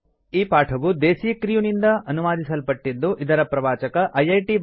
ಈ ಪಾಠವು ದೇಸೀ ಕ್ರ್ಯೂ ನಿಂದ ಅನುವಾದಿಸಲ್ಪಟ್ಟಿದ್ದು ಇದರ ಪ್ರವಾಚಕ ಐಐಟಿ